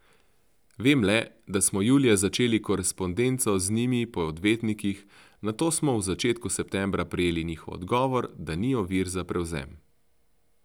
Vem le, da smo julija začeli korespondenco z njimi po odvetnikih, nato pa smo v začetku septembra prejeli njihov odgovor, da ni ovir za prevzem.